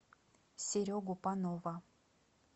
серегу панова